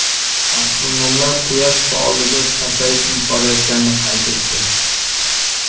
Astronomlar Quyosh faolligi pasayib borayotganini qayd etdi.